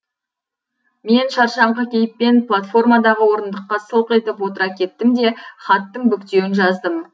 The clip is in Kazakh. мен шаршаңқы кейіппен платформадағы орындыққа сылқ етіп отыра кеттім де хаттың бүктеуін жаздым